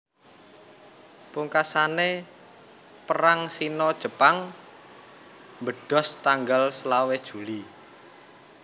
Pungkasane Perang Sino Jepang mbedhos tanggal selawe Juli